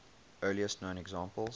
earliest known examples